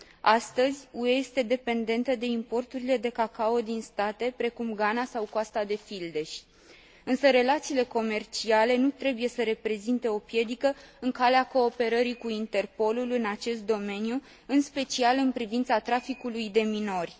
Astăzi, UE este dependentă de importurile de cacao din state precum Ghana sau Coasta de Fildeș, însă relațiile comerciale nu trebuie să reprezinte o piedică în calea cooperării cu Interpolul în acest domeniu, în special în privința traficului de minori.